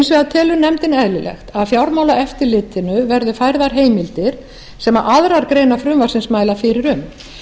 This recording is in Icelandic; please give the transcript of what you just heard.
telur nefndin eðlilegt að fjármálaeftirlitinu verði færðar heimildir sem aðrar greinar frumvarpsins mæla fyrir um